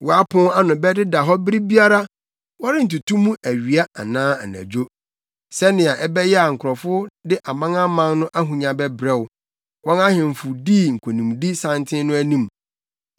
Wo apon ano bɛdeda hɔ bere biara, wɔrentoto mu awia anaa anadwo, sɛnea ɛbɛyɛ a nkurɔfo de amanaman no ahonya bɛbrɛ wo, wɔn ahemfo dii nkonimdi santen no anim.